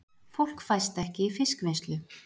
Fólk fæst ekki í fiskvinnslu